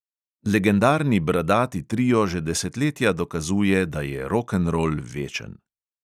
Legendarni bradati trio že desetletja dokazuje, da je rokenrol večen.